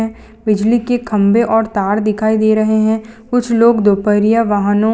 बिजली के खंभे और तार दिखाई दे रहे हैं कुछ लोग दोपहरिया वाहनों --